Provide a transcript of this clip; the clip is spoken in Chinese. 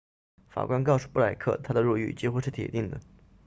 法官告诉布莱克他的入狱几乎是铁定的